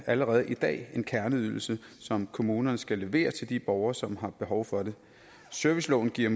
allerede i dag en kerneydelse som kommunerne skal levere til de borgere som har behov for det serviceloven giver